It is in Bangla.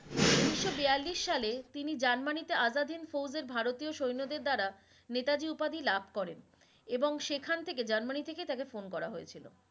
উনিশও বেয়াল্লিশ সালে তিনি জার্মানিতে আজাদিন ফৌজে ভারতীয় সৈন্যদের দ্বারা, নেতাজি উপাধি লাভ করেন এবং সেখান থেকে জার্মানি থেকে তাকে ফোন করা হয়েছিলো